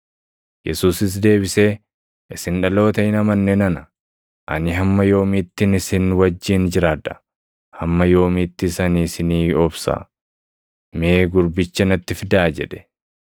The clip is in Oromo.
Yesuusis deebisee, “Isin dhaloota hin amanne nana; ani hamma yoomiittin isin wajjin jiraadha? Hamma yoomiittis ani isinii obsa? Mee gurbicha natti fidaa” jedhe.